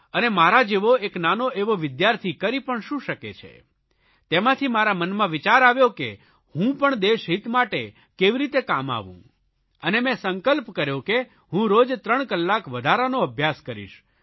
અને મારા જેવો એક નાનો એવો વિદ્યાર્થી કરી પણ શું શકે છે તેમાંથી મારા મનમાં વિચાર આવ્યો કે હું પણ દેશહિત માટે કેવી રીતે કામ આવું અને મેં સંકલ્પ કર્યો કે હું રોજ 3 કલાક વધારાનો અભ્યાસ કરીશ